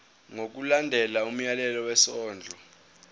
ngokulandela umyalelo wesondlo